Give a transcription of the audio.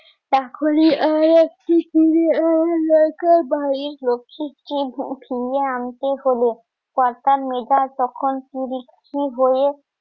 ফিরিয়ে আনতে হবে। কর্তা মেধা তখন হয়ে